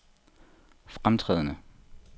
fremtrædende